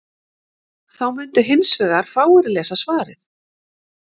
Þá mundu hins vegar fáir lesa svarið.